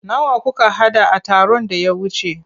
Nawa kuka haɗa a taron da ya wuce?